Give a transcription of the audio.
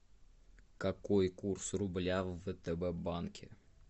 какой курс рубля в втб банке